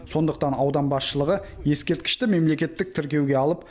сондықтан аудан басшылығы ескерткішті мемлекеттік тіркеуге алып